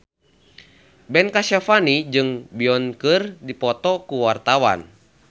Ben Kasyafani jeung Beyonce keur dipoto ku wartawan